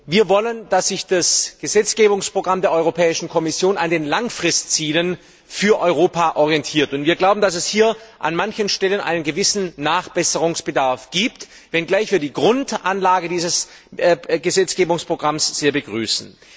Wir wollen, dass sich das Gesetzgebungsprogramm der Europäischen Kommission an den langfristigen Zielen für Europa orientiert, und wir glauben, dass es hier an manchen Stellen einen gewissen Nachbesserungsbedarf gibt, wenngleich wir die Grundanlage dieses Gesetzgebungsprogramms sehr begrüßen.